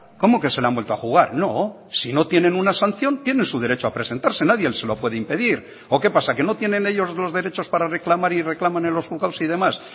cómo que se lo han vuelto a jugar no si no tienen una sanción tienen su derecho a presentarse nadie se lo puede impedir o qué pasa que no tienen ellos los derechos para reclamar y reclaman en los juzgados y demás